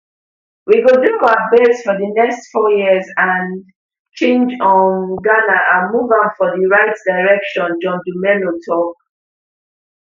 we go do our best for di next four years and change um ghana and move am for di right direction john dumelo tok